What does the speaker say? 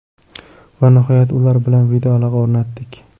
Va nihoyat ular bilan video aloqa o‘rnatdik”.